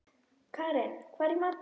Karin, hvað er í matinn?